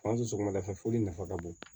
Fan sɔgɔmada fɛ foli nafa ka bon